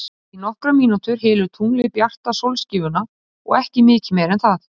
Í nokkrar mínútur hylur tunglið bjarta sólskífuna og ekki mikið meira en það.